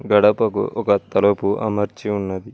గడపకు ఒక తలపు అమర్చి ఉన్నది.